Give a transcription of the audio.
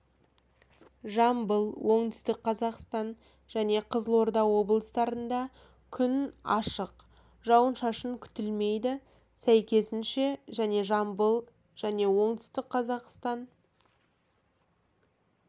жамбыл оңтүстік қазақстан және қызылорда облыстарында күн ашық жауын-шашын күтілмейді сәйкесінше және жамбыл және оңтүстік қазақстан